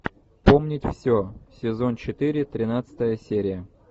помнить все сезон четыре тринадцатая серия